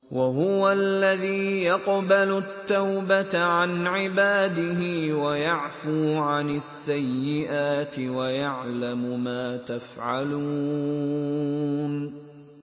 وَهُوَ الَّذِي يَقْبَلُ التَّوْبَةَ عَنْ عِبَادِهِ وَيَعْفُو عَنِ السَّيِّئَاتِ وَيَعْلَمُ مَا تَفْعَلُونَ